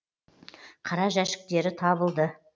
қара жәшіктері табылды